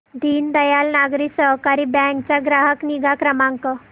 Deendayal Nagari Sahakari bank चा ग्राहक निगा क्रमांक